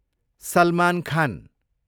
Salman Khan